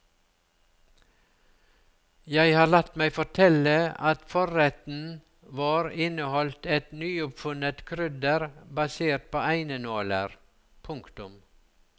Jeg har latt meg fortelle at forretten vår inneholdt et nyoppfunnet krydder basert på einenåler. punktum